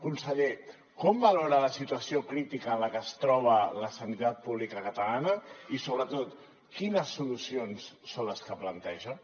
conseller com valora la situació crítica en la que es troba la sanitat pública catalana i sobretot quines solucions són les que planteja